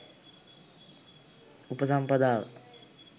උපසම්පදාව